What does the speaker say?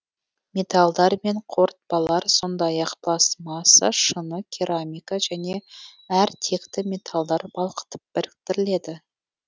металдар мен қорытпалар сондай ақ пластмасса шыны керамика және әр текті металдар балқытып біріктіріледі